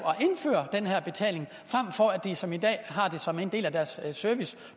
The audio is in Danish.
at indføre den her betaling frem for at de som i dag har det som en del af deres service